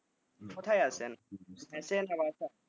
কোথায় আছেন, মেসে না বাসায়?